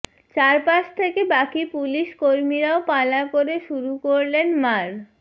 চারপাশ থেকে বাকি পুলিশ কর্মীরাও পালা করে শুরু করলেন মার